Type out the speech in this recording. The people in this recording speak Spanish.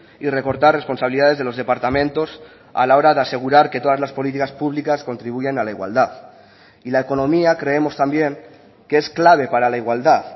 y recortar responsabilidades de los departamentos a la hora de asegurar que todas las políticas públicas contribuyan a la igualdad y la economía creemos también que es clave para la igualdad